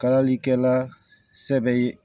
Kalalikɛla sɛbɛ ye